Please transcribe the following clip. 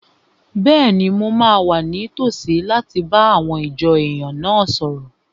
Bẹ́ẹ̀ni, mo máa wà ní tòsí láti bá àwọn ìjọ èèyàn náà sọ̀rọ̀